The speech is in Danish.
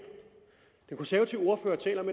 den konservative ordfører taler om